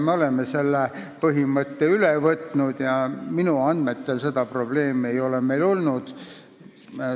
Me oleme selle põhimõtte üle võtnud ja minu andmetel ei ole meil seni probleeme olnud.